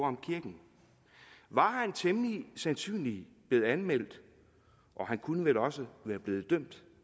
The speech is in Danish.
om kirken var han temmelig sandsynligt blevet anmeldt og han kunne vel også være blevet dømt